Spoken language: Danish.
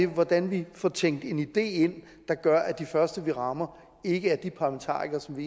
hvordan vi får tænkt en idé ind der gør at de første vi rammer ikke er de parlamentarikere som